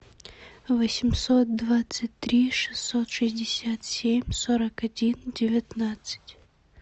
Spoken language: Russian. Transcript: восемьсот двадцать три шестьсот шестьдесят семь сорок один девятнадцать